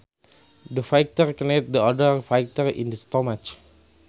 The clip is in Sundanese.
The fighter kneed the other fighter in the stomach